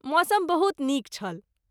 मौसम बहुत नीक छल।